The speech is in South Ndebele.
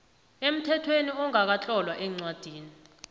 emthethweni ongakatlolwa eencwadini